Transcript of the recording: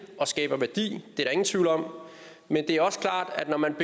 og skaber værdi det er der ingen tvivl om men det er også klart at når man